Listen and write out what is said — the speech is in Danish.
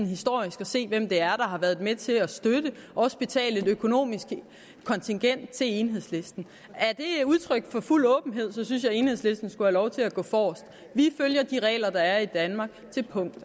historisk at se hvem det er har været med til at støtte dem og også betale kontingent til enhedslisten er det udtryk for fuld åbenhed synes jeg at enhedslisten skulle have lov til at gå forrest vi følger de regler der er i danmark til punkt